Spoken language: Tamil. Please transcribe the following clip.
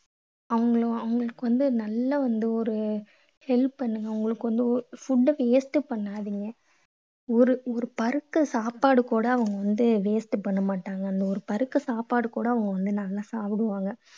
அவங்கள~ அவங்களுக்கு வந்து நல்ல வந்து ஒரு help பண்ணணும். அவங்களுக்கு வந்து food ட waste பண்ணாதீங்க. ஒரு பருக்கை சாப்பாடு கூட அவங்க வந்து waste பண்ண மாட்டாங்க. அந்த ஒரு பருக்கை சாப்பாடு கூட அவங்க வந்து நல்லா சாப்பிடுவாங்க.